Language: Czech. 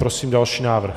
Prosím další návrh.